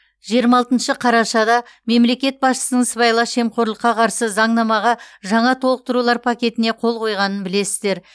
жиырма алтыншы қарашада мемлекет басшысының сыбайлас жемқорлыққа қарсы заңнамаға жаңа толықтырулар пакетіне қол қойғанын білесіздер